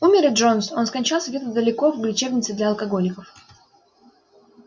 умер и джонс он скончался где-то далеко в лечебнице для алкоголиков